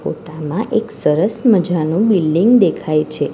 ફોટામાં એક સરસ મજાનુ બિલ્ડિંગ દેખાઈ છે.